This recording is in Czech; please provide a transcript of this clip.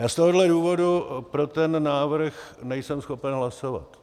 Já z tohohle důvodu pro ten návrh nejsem schopen hlasovat.